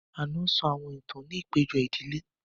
Ànọ́ sọ àwọn ìtàn ní àpéjọ ìdílé